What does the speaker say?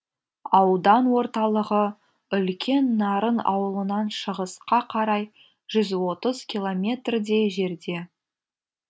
аудан орталығы үлкен нарын ауылынан шығысқа қарай жүз отыз километрдей жерде